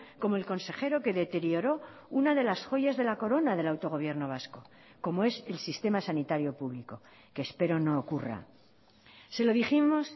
como el consejero que deterioró una de las joyas de la corona del autogobierno vasco como es el sistema sanitario público que espero no ocurra se lo dijimos